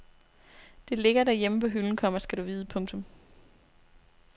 Det ligger derhjemme på hylden, komma skal du vide. punktum